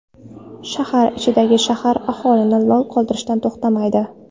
Shahar ichidagi shahar aholini lol qoldirishdan to‘xtamaydi.